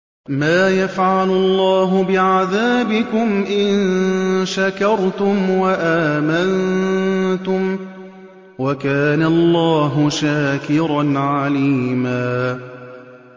مَّا يَفْعَلُ اللَّهُ بِعَذَابِكُمْ إِن شَكَرْتُمْ وَآمَنتُمْ ۚ وَكَانَ اللَّهُ شَاكِرًا عَلِيمًا